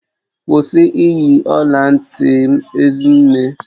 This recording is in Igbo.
Kwụsị iyi ọla ntị m Ezinne!